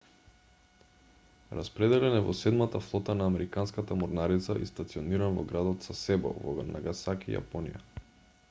распределен е во седмата флота на американската морнарица и стациониран во градот сасебо во нагасаки јапонија